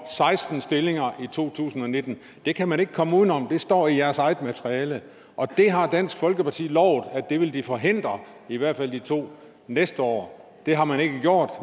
seksten stillinger i to tusind og nitten det kan man ikke komme udenom det står i jeres eget materiale det har dansk folkeparti lovet at de ville forhindre i hvert fald de to næste år det har man ikke gjort